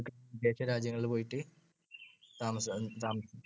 വിദേശരാജ്യങ്ങളിൽ പോയിട്ട് താമസം~ താമസി